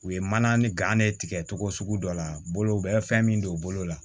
U ye mana ni gan ne tigɛ cogo sugu dɔ la bolo u bɛ fɛn min don u bolo la